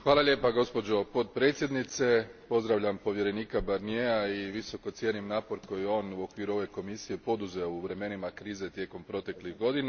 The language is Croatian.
Gospođo potpredsjednice, pozdravljam povjerenika Barniera i visoko cijenim napor koji je on u okviru ove Komisije poduzeo u vremenima krize tijekom proteklih godina.